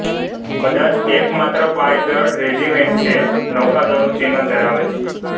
કદાચ એકમાત્ર પાયદળ રેજિમેન્ટ છે નૌકાનું ચિહ્ન ધરાવે છે